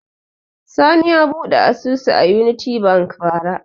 Sani ya buɗe asusu a Unity Bank bara.